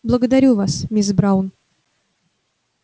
благодарю вас мисс браун